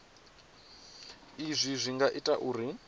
izwi zwi nga ita uri